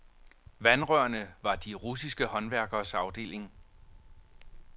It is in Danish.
Vandrørene var de russiske håndværkeres afdeling.